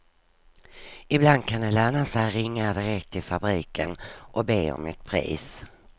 Ibland kan det löna sig att ringa direkt till fabriken och be om ett pris.